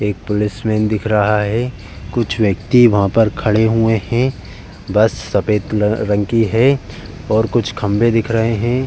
एक पोलिसमेन दिख रहा है। कुछ व्यक्ति वहां पर खड़े हुए हैं। बस सफ़ेद रंग की है और कुछ खम्भे दिख रहे हैं।